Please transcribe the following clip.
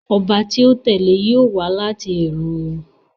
Ọba tí ó tẹ̀lé e yóò wá láti ìran wọn